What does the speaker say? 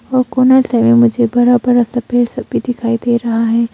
वो कोना से मुझे बड़ा बड़ा सा पेड़ सब भी दिखाई दे रहे है।